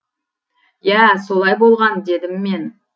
иә солай болған дедім мен